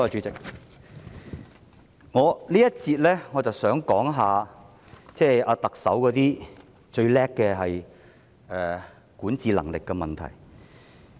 在這環節，我想說一說特首自以為是的管治能力問題。